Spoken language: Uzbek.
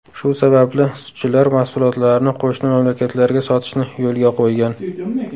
Shu sababli sutchilar mahsulotlarini qo‘shni mamlakatlarga sotishni yo‘lga qo‘ygan.